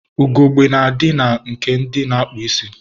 Ugogbe na-adị na nke ndị na-akpụ isi.